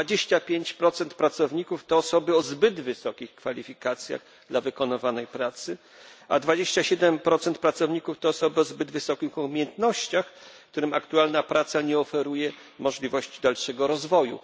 25 pracowników to osoby o zbyt wysokich kwalifikacjach dla wykonywanej pracy, a 27 pracowników to osoby o zbyt wysokich umiejętnościach, którym aktualna praca nie oferuje możliwości dalszego rozwoju.